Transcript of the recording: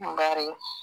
Bari